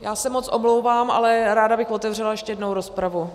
Já se moc omlouvám, ale ráda bych otevřela ještě jednou rozpravu.